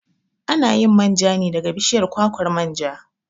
A na yin manja ne daga bishiyar kwakwar manja.